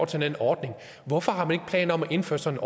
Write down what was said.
til den ordning hvorfor har man ikke planer om at indføre sådan